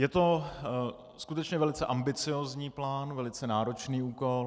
Je to skutečně velice ambiciozní plán, velice náročný úkol.